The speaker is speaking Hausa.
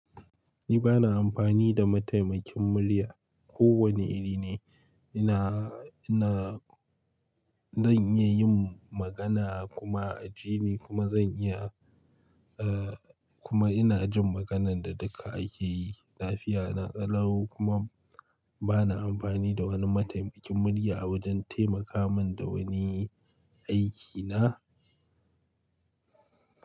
Ni bana amfani da mataimakin murya. Ko wane iri ne, ina, ina, zan iya yin magana kuma a ji ni kuma zan iya, eh kuma ina jin maganan da duka ake yi. Lafiya na, ƙalau kuma bana amfani da wani mataimakin murya awajen taimaka min da wani aiki na.